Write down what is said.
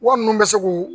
Wa minnu bɛ se k'u